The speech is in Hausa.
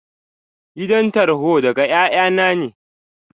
Kiran tarhon daga ƴaƴanna ne.